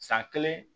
San kelen